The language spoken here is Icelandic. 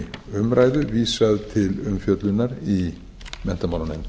umræðu vísað til umfjöllunar í menntamálanefnd